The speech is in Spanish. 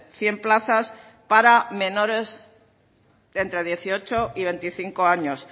cien plazas para menores de entre dieciocho y veinticinco años